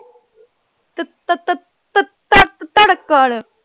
ਧੜਕਣ।